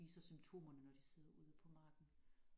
Viser symptomerne når de sidder ude på marken